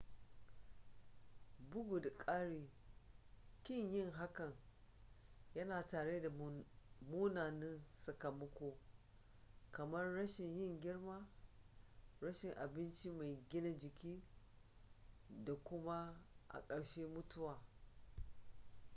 bugu da ƙari ƙin yin hakan yana tattare da munanan sakamako:kamar rashin yin girma rashin abinci mai gina jiki da kuma a karshe mutuwa